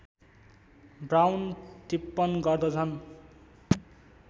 brown टिप्पण गर्दछन्